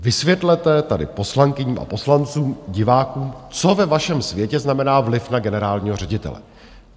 Vysvětlete tady poslankyním a poslancům, divákům, co ve vašem světě znamená vliv na generálního ředitele.